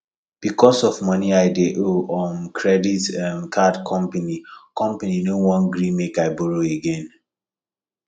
because of money i dey owe um credit um card company company no wan gree make i borrow again